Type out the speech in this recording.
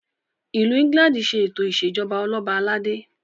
ilù England ṣe eto ìṣèjọba Ọlọba aládé